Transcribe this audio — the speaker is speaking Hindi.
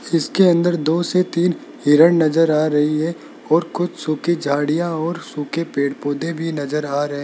इसके अंदर दो से तीन हिरन नजर आ रही है और कुछ सुखी झाड़ियां और सूखे पेड़ पौधे भी नजर आ रहे --